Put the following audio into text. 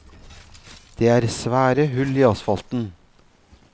Det er svære hull i asfalten.